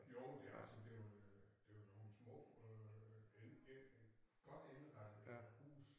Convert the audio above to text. Jo det altså det jo øh det jo nogen små øh det godt indrettede huse